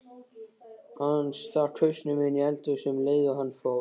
Hann stakk hausnum inní eldhúsið um leið og hann fór.